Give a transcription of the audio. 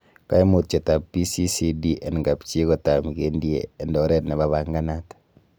Koimutietab PCCD en kapchii kotam kindie en oret nemapanganat.